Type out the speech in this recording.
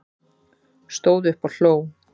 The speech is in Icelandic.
Stóð upp og hló